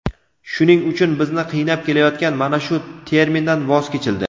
Shuning uchun bizni qiynab kelayotgan mana shu termindan voz kechildi.